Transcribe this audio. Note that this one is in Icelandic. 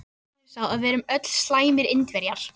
Sannleikurinn er sá að við erum öll slæmir Indverjar.